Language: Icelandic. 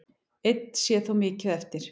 Enn sé þó mikið eftir.